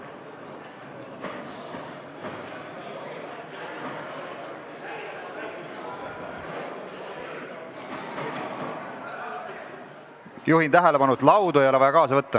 Juhin tähelepanu, et laudu ei ole vaja kaasa võtta.